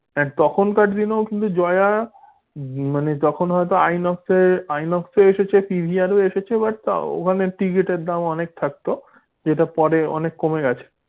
আর তখনকার দিনেও কিন্তু জয়া মানে তখন হইত আইনক্স আইনক্সেও এসেছে পিভিআর এও এসেছে। তাও মানে but ওখানে ticket র দাম অনেক থাকতো যেটা পরে অনেক কমে গেছে।